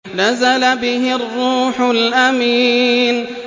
نَزَلَ بِهِ الرُّوحُ الْأَمِينُ